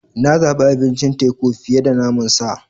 Na zabi abincin teku fiye da naman sa.